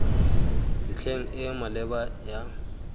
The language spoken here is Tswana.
ntlheng e e maleba ya